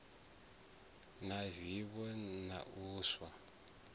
na vivho na u sa